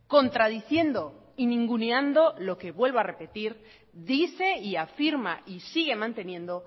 contradiciendo y ninguneando lo que vuelvo a repetir dice y afirma y sigue manteniendo